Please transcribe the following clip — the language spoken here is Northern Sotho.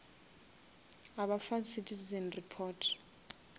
a ba fa citizen report